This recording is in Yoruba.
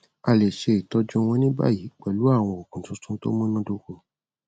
a lè ṣe ìtọjú wọn ní báyìí pẹlú àwọn òògùn tuntun tó múnádóko